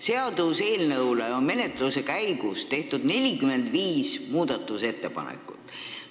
Seaduseelnõu kohta on menetluse käigus tehtud 45 muudatusettepanekut.